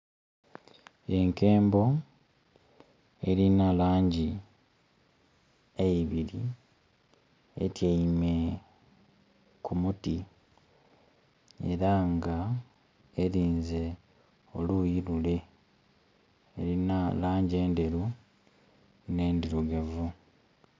Enkembo erina langi eibiri etyeime ku muti era nga erinze oluyi lule, elina langi endheru ne ndhirugavu.